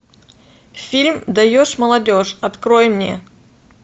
фильм даешь молодежь открой мне